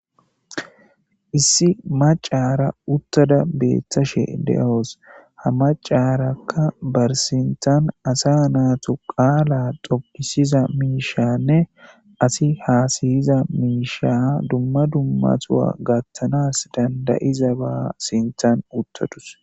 Issi macara uttada beettashe de'oos ha macaarakka barsintan asa naatu qaala dokisiza miishanne asi haasayiza miisha dumma dummatuwa gattanas dandayiza baa sintan uttadus